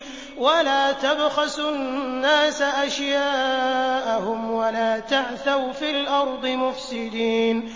وَلَا تَبْخَسُوا النَّاسَ أَشْيَاءَهُمْ وَلَا تَعْثَوْا فِي الْأَرْضِ مُفْسِدِينَ